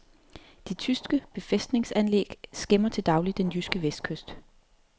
De tyske befæstningsanlæg skæmmer til daglig den jyske vestkyst.